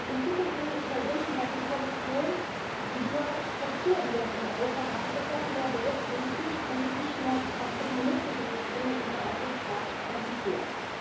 In Zukunft würde ich mir wünschen, dass die Kommission die duale Struktur, die wir in Europa haben, etwas mehr berücksichtigt und sich nicht nur auf das monistische System mit dem Verwaltungsrat konzentriert.